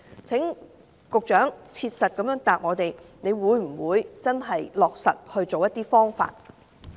請局長切實回答，會否落實一些解決方法？